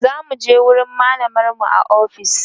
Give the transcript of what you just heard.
zamuje wurin mallamar mu a ofis